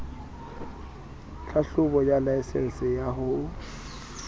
tlhahlobo ya laesense ya ho